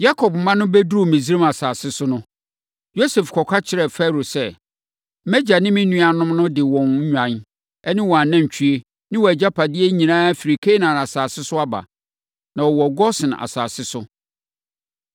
Yakob mma no bɛduruu Misraim asase so no, Yosef kɔka kyerɛɛ Farao sɛ, “Mʼagya ne me nuanom no de wɔn nnwan ne wɔn anantwie ne wɔn agyapadeɛ nyinaa firi Kanaan asase so aba, na wɔwɔ Gosen asase so”.